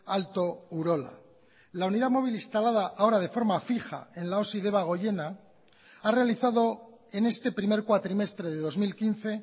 alto urola la unidad móvil instalada ahora de forma fija en la osi debagoiena ha realizado en este primer cuatrimestre de dos mil quince